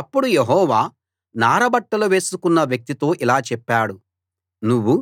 అప్పుడు యెహోవా నార బట్టలు వేసుకున్న వ్యక్తితో ఇలా చెప్పాడు నువ్వు